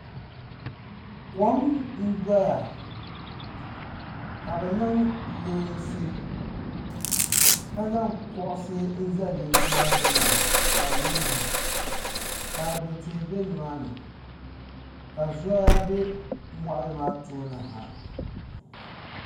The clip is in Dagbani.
Kɔm n dɔya ka niŋ leensi ka zaŋ kuɣusi n zali leensi maa gbunni ka di niŋ mahim ka abɛ tihi bɛ ni maa ni ka zɔya bɛ mɔɣili maa tooni ha.